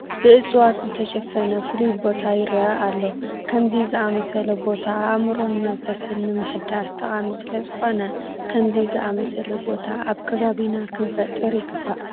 ብእፅዋት ዝተሸፈነ ፍሉይ ቦታ ይርአ ኣሎ፡፡ ከምዚ ዝኣምሰለ ቦታ ኣእምሮን መንፈስን ንምሕዳስ ጠቓሚ ስለዝኾነ ከምዚ ዝኣምሰለ ቦታ ኣብ ከባቢና ክንፈጥር ይግባእ፡፡